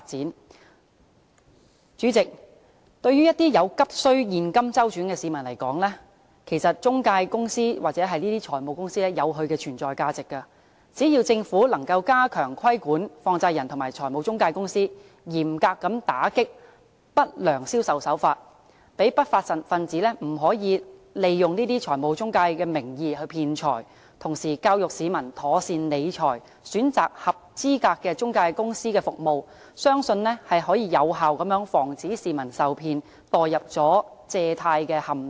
代理主席，對於一些急需現金周轉的市民來說，其實中介公司或財務公司有其存在價值，只要政府能夠加強規管放債人及財務中介公司，嚴格打擊不良銷售手法，令不法分子不能以財務中介名義騙財，同時教育市民妥善理財，選擇合資格的中介公司的服務，相信將有效防止市民受騙，墮入借貸陷阱。